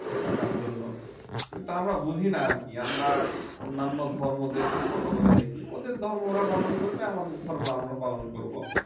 থাকার জন্য। কিন্তু আমরা বুঝি না আর কি আমরা অন্যান্য ধর্মদেরকে ছোট করে দেখি ওদের ধর্ম ওরা পালন করবে আমাদের ধর্ম আমরা পালন করব